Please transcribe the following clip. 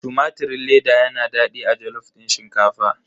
Tumatirin leda yana daɗi a jalof din shinkafa.